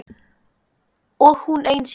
Og hún ein síðar.